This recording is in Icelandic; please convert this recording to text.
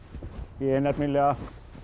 ég er nefnilega